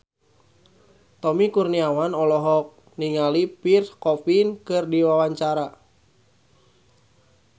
Tommy Kurniawan olohok ningali Pierre Coffin keur diwawancara